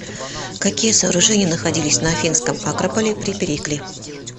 какие сооружения находились на афинском акрополе при перикле